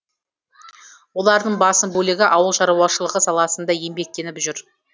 олардың басым бөлігі ауыл шаруашылығы саласында еңбектеніп жүр